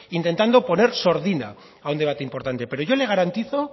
intentando poner sordina a un debate importante pero yo le garantizo